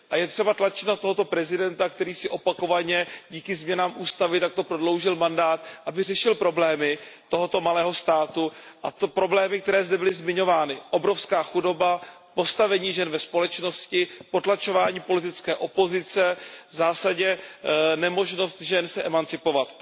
Je třeba tlačit na tohoto prezidenta, který si opakovaně díky změnám ústavy takto prodloužil mandát, aby řešil problémy tohoto malého státu a to problémy, které zde byly zmiňovány obrovská chudoba, postavení žen ve společnosti, potlačování politické opozice, v zásadě nemožnost žen se emancipovat.